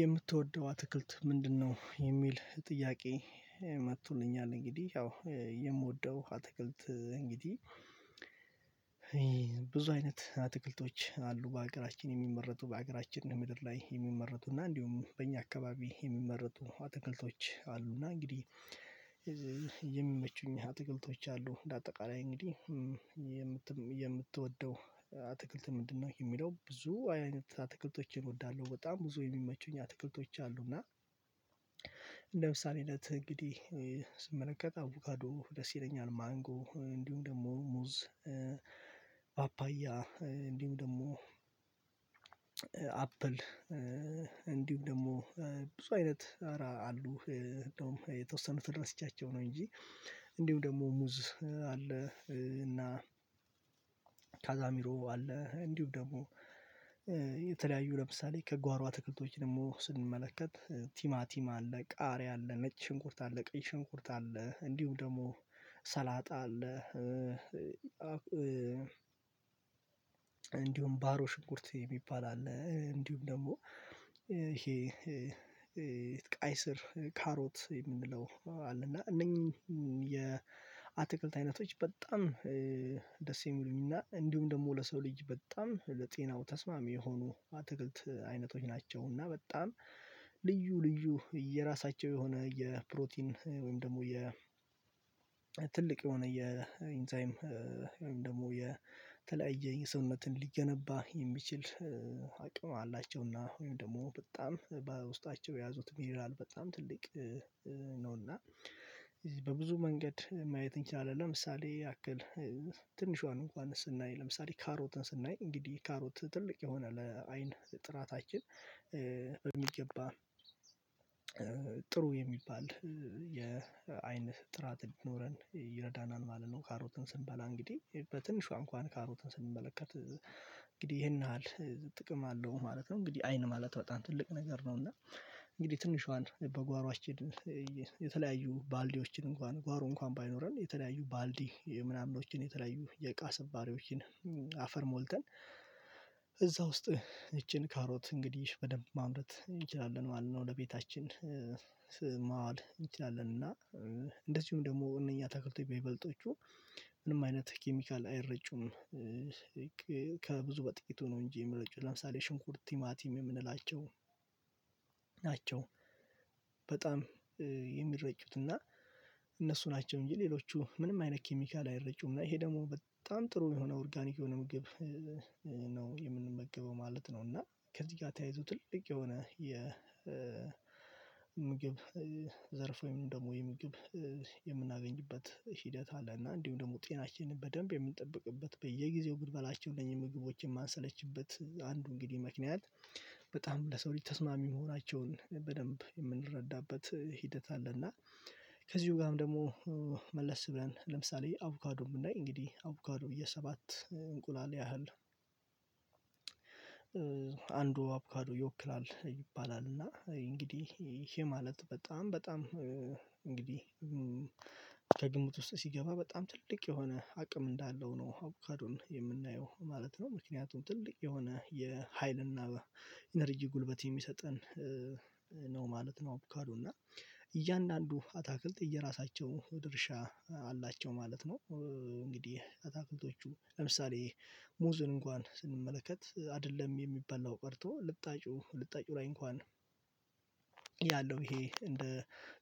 የምትወደው አትክልት ምንድነው የሚል ጥያቄ? እንግዲህ ያው የምወደው አትክልት እንግዲህ። ብዙ አይነት አትክልቶች አሉ በሀገራችን የሚመረቱ በሀገራችን ምድር ላይ የሚመረቱ እና እንዲሁም በእኛ አካባቢ የሚመረጡ አትክልቶች አሉና እንግዲህ። የሚመቹኝ አሉ አትክልቶች አሉ እንደ አጠቃላይ እንግዲህ የምት የምትወደው አትክልት ምንድነው የሚለው ብዙ አይነት አትክልቶችን እወዳለሁ በጣም ብዙ የሚመቹኝ አትክልቶች አሉ እና። እንግዲህ ስመለከተው አቮጋዶ ደስ ይለኛል ማንጎ እንዲሁም ደግሞ ሙዝ ፓፓያ እንዲሁ ደግሞ አፕል እንዲሁም ደግሞ ብዙ አይነት ኧራ አሉ የተወሰኑትን ረስስቻቸው ነው እንጂ እንዲሁ ደግሞ ሙዝ አለ። እና ታዛሚሮ አለ እንዲሁም ደግሞ የተለያዩ ለምሳሌ ከጓሮ አትክልቶች ደግሞ ስንመለከት ቲማቲም አለ ቃሪያ አለ ነጭ ሽንኩርት አለ ቀይ ሽንኩርት አለ እንዲሁ ደግሞ ሰላጣ አለ። እንዲሁም ባሮ ሽንኩርት የሚባል አለ እንዲሁም ደግሞ ይሄ ቀይ ስር ካሮት የምንለው አለ እና እነኚህ የአትክልት አይነቶች በጣም ደስ የሚሉኝና እንዲሁም ደግሞ ለሰው ልጅ በጣም ለጤናው ተስማሚ የሆኑ አትክልት አይነቶች ናቸው። እና በጣም ልዩ ልዩ የራሳቸው የሆነ የፕሮቲን ወይም ደግሞ የ ትልቅ የሆነ የኢንዛይም ወይም ደግሞ የተለያየ የሰውነትን ሊገነባ የሚችል አቅም አላቸውና ወይም ደግሞ በጣም በውስጣቸው የያዙት ሚኒራል በጣም ትልቅ ነውና። በብዙ መንገድ ማየት እንችላለን ለምሳሌ ያክል ትንሿን እንኳን ስናይ ለምሳሌ ካሮትን ስናይ እንግዲህ ካሮት ትልቅ የሆነ ለአይን ጥራታችን በሚገባ ጥሩ የሚባል የአይን ጥራት እንዲኖረን ይረዳናል ማለት ነው። ካሮትን ስንበላ እንግዲህ በትንሿ እንኳን ካሮትን ስንመለከት እንግዲህ ይሄን ያህል ጥቅም አለው ማለት ነው። እንግዲህ አይን ማለት በጣም ትልቅ ነገር ነው እና እንግዲህ ትንሿን በጓሮአችን የተለያዩ ባልዲዎችን እንኳን ጓሮ እንኳን ባይኖረን የተለያዩ ባልዲ ምናምኖችን የተለያዩ የቃሰባሪዎችን አፈር ሞልተን እዛ ውስጥ ይቺን ካሮት እንግዲህ በደንብ ማምረት እንችላለን ማለት ነው። ለቤታችን እንችላለን እና እንደዚሁም ደግሞ እነኛ አታክልቶች በይበለጦቹ ምንም አይነት ኬሚካል አይረጩም። በጥቂቱ ነው እንጂ የሚረጩ ለምሳሌ ሽንኩርት ቲማቲም የምንላቸው ናቸው በጣም የሚረጩት እና እነሱ ናቸው እንጂ ሌሎቹ ምንም አይነት ኬሚካል አይረጩም እና ይሄ ደግሞ በጣም ጥሩ የሆነ ኦርጋኒክ የሆነ ምግብ ነው የምንመገበው ማለት ነው። እና ከዚህ ጋር ተያይዞ ትልቅ የሆነ የ የምግብ ዘርፍ ወይም ደግሞ የምግብ የምናገኝበት ሂደት አለ እና እንዲሁም ደግሞ ጤናችንን በደንብ የምንጠብቅበት በየጊዜው ምንበላቸውን ምግቦችን የማንሰለችበት አንዱ እንግዲህ ምክንያት በጣም ለሰው ልጅ ተስማሚ መሆናቸውን በደንብ የምንረዳበት ሂደት አለና። ከዚሁ ጋርም ደግሞ መለስ ብለን ለምሳሌ አብካዶ ብናይ እንግዲህ አብካዶ የሰባት እንቁላል ያህል አንዱ አብካዶ ይወክላል ይባላል እና እንግዲህ ይሄ ማለት በጣም በጣም እንግዲህ ከግምት ውስጥ ሲገባ በጣም ትልቅ የሆነ አቅም እንዳለው ነው አብካዶን የምናየው ማለት ነው። ምክንያቱም ትልቅ የሆነ የሀይልና ኢነርጂ ጉልበት የሚሰጠን ነው ማለት ነው አብካዶ እና እያንዳንዱ አታክልት የየራሳቸው ድርሻ አላቸው ማለት ነው። እንግዲህ አታክልቶቹ ለምሳሌ ሙዝን እንኳን ስንመለከት አይደለም የሚበላው ቀርቶ ልጣጩ ልጣጩ ላይ እንኳን ያለው ይሄ እንደ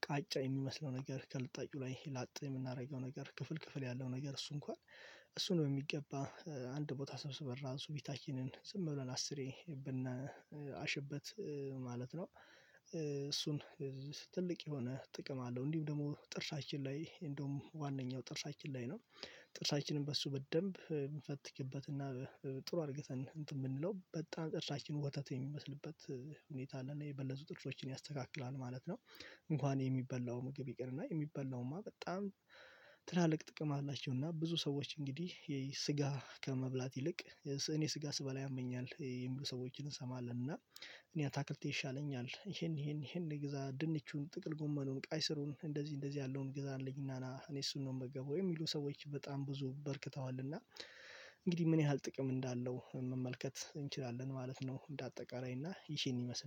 ቃጫ የሚመስለው ነገር ከልጣጩ ላይ ላጥ የምናደርገው ነገር ክፍል ክፍል ያለው ነገር እሱ እንኳን እሱን በሚገባ አንድ ቦታ ሰብስበን ራሱ ቤታችንን ዝም ብለን አስሬ ብናሽበት ማለት ነው። ትልቅ የሆነ ጥቅም አለው እንዲሁም ደግሞ ጥርሳችን ላይ እንደውም ዋነኛው ጥርሳችን ላይ ነው ጥርሳችንን በሱ በደንብ ብንፈትክበትና ጥሩ አርግተን እንትን ብንለው በጣም ጥርሳችን ወተት የሚመስልበት ሁኔታ አለና የበለዙ ጥርሶችን ያስተካክላል ማለት ነው። እንኳን የሚበላው ምግብ ይቅርና የሚበላውማ በጣም ትላልቅ ጥቅም አላቸው እና ብዙ ሰዎች እንግዲህ የስጋ ከመብላት ይልቅ እኔ ስጋ ስበላ ያመኛል የሚሉ ሰዎችን እንሰማለን እና እኔ አታክልቴ ይሻለኛል ይሄን ይሄን ይሄን ግዛ ድንቹን ጥቅል ጎመኑን ቃይ ስሩን እንደዚህ እንደዚህ ያለውን ግዛልኝና ና እኔ እሱን ነው የምመገበው የሚሉ ሰዎች በጣም ብዙ በርክተዋልና። እንግዲህ ምን ያህል ጥቅም እንዳለው መመልከት እንችላለን ማለት ነው እንደ አጠቃላይ እና ይሄን ይመስላል